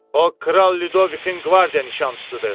O Kral Lyudovikin qvardiya nişançısıdır!